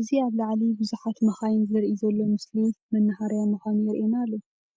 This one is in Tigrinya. እዚ ኣብ ላዓሊ ቡዙሓት መኻይን ዘርኢ ዘሎ ምስሊ መናሃርያ ምኻኑ የርኤና ኣሎ።